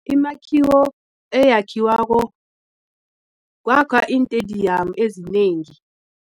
Imakhiwo eyakhiwako kwakhwa iintediyamu ezinengi.